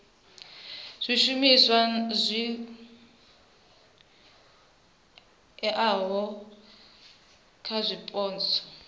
zwishumiswa zwi oeaho kha zwipotso